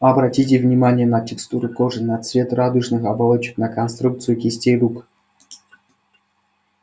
обратите внимание на текстуру кожи на цвет радужных оболочек на конструкцию кистей рук